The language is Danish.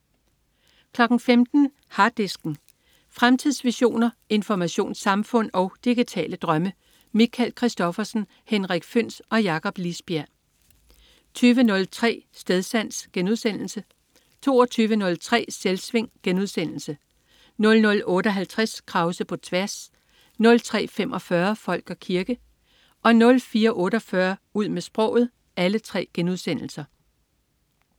15.00 Harddisken. Fremtidsvisioner, informationssamfund og digitale drømme. Michael Christophersen, Henrik Føhns og Jakob Lisbjerg 20.03 Stedsans* 22.03 Selvsving* 00.58 Krause på tværs* 03.45 Folk og kirke* 04.48 Ud med sproget*